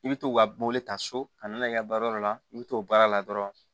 I bɛ to ka mobili ta so ka na n'a kɛ baara yɔrɔ la i bɛ to baara la dɔrɔn